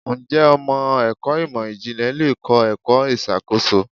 Ǹjẹ́ ọmọ ẹ̀kọ́ ìmò ìjìnlẹ̀ le kọ́ ẹ̀kọ́ ìṣàkóso?